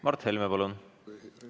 Mart Helme, palun!